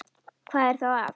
Hvað er þá að?